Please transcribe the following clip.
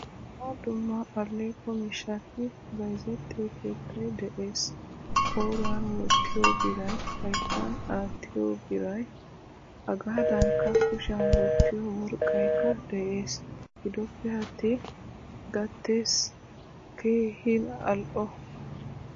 Dumma dumma alleqo miishshati bayzzetiyo keettay de'ees. Qoriyan wottiyo biray, hayttan attiyo biray hegadankka kushiyan wottiyo worqqaykka de'ees. Gidoppe attin gatees keehin al'o.